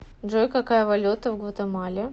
джой какая валюта в гватемале